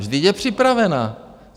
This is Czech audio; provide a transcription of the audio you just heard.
Vždyť je připravena!